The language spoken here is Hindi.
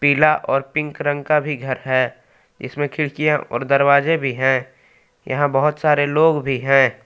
पीला और पिंक रंग का भी घर है इसमें खिड़कियां और दरवाजे भी हैं यहां बहोत सारे लोग भी है।